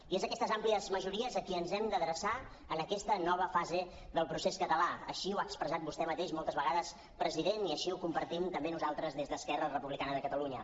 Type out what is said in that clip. i és a aquestes àmplies majories a qui ens hem d’adreçar en aquesta nova fase del procés català així ho ha expressat vostè mateix moltes vegades president i així ho compartim també nosaltres des d’esquerra republicana de catalunya